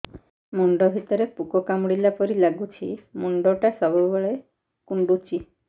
ମୁଣ୍ଡ ଭିତରେ ପୁକ କାମୁଡ଼ିଲା ପରି ଲାଗୁଛି ମୁଣ୍ଡ ଟା ସବୁବେଳେ କୁଣ୍ଡୁଚି